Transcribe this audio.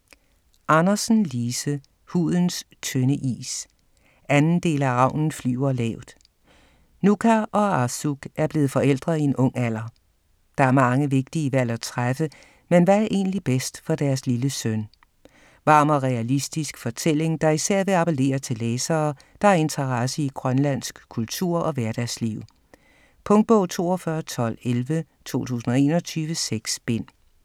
Andersen, Lise: Hudens tynde is 2. del af Ravnen flyver lavt. Nuka og Arsuk er blevet forældre i en ung alder. Der er mange vigtige valg at træffe, men hvad er egentlig bedst for deres lille søn? Varm og realistisk fortælling, der især vil appellere til læsere, der har interesse i grønlandsk kultur og hverdagsliv. Punktbog 421211 2021. 6 bind.